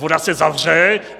Voda se zavře.